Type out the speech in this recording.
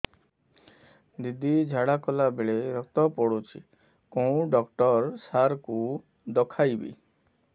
ଦିଦି ଝାଡ଼ା କଲା ବେଳେ ରକ୍ତ ପଡୁଛି କଉଁ ଡକ୍ଟର ସାର କୁ ଦଖାଇବି